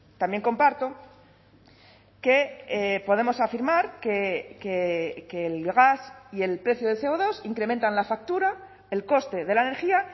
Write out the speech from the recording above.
también comparto que podemos afirmar que el gas y el precio de ce o dos incrementan la factura el coste de la energía